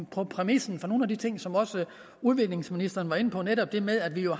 på præmissen for nogle af de ting som også udviklingsministeren var inde på netop det med at vi jo